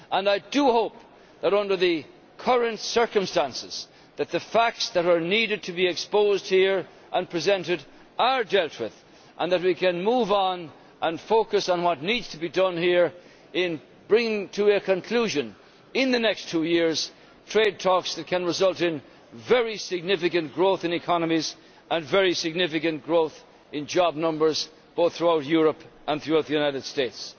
I do hope that, under the current circumstances, the facts that are needed to be exposed here and presented are dealt with and that we can move on and focus on what needs to be done here in bringing to a conclusion, in the next two years, trade talks that could result in very significant growth in economies and very significant growth in job numbers both throughout Europe and throughout the United States.